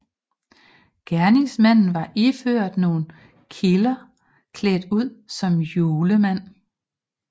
Gerningsmanden var ifølge nogle kilder klædt ud som julemand